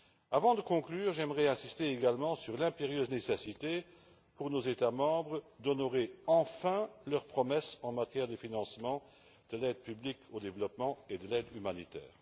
Avant de conclure, j'aimerais insister également sur l'impérieuse nécessité pour nos États membres d'honorer, enfin, leurs promesses en matière de financement de l'aide publique au développement et de l'aide humanitaire.